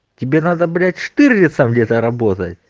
тебе надо блять штирлица где-то работа